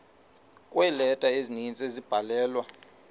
kweeleta ezininzi ezabhalelwa